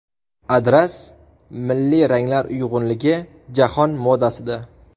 Adras: milliy ranglar uyg‘unligi jahon modasida.